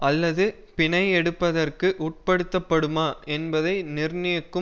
அல்லது பிணை எடுப்பிற்கு உட்படுத்தப்படுமா என்பதை நிர்ணயிக்கும்